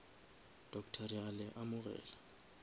doctor re a le amogela